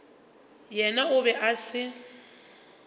yena o be a se